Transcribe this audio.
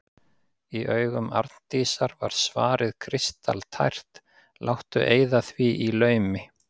Í augum Arndísar var svarið kristaltært: Láttu eyða því í laumi.